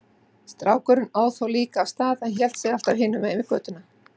Strákurinn óð þá líka af stað en hélt sig alltaf hinum megin við götuna.